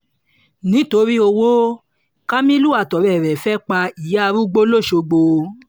nítorí owo kamilu àtọ̀rẹ́ rẹ̀ fẹ́ẹ́ pa ìyá arúgbó lọ́sogbọ̀